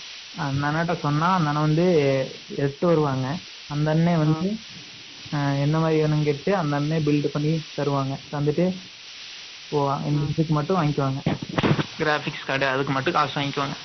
அந்த அண்ணாட்ட சொன்னா, அந்த அண்ணன் வந்து, எட்டு வருவாங்க. அந்த அண்ணன் வந்து, அ, என்ன மாதிரி வேணும்னு கேட்டு, அந்த அண்ணன் build பண்ணி தருவாங்க. தந்துட்டு, இப்போ மட்டும் வாங்கிக்கோங்க. Graphics கடை, அதுக்கு மட்டும், காசு வாங்கிக்வாங்க